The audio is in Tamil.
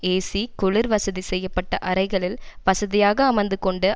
ஏசி குளிர் வசதி செய்ய பட்ட அறைகளில் வசதியாக அமர்ந்து கொண்டு